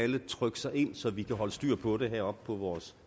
alle trykke sig ind så vi kan holde styr på det heroppe fra vores